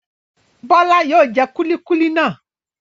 Bọ́lá yóò jẹ kúlíkúlí náà.